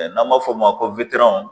N'an b'a f'o ma ko